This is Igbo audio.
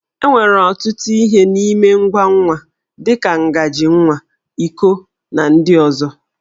E nwere ọtụtụ ihe n'ime ngwa nwa, dị ka ngaji nwa, iko, na ndị ọzọ.